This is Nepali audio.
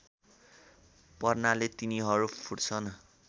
पर्नाले तिनीहरू फुट्छन्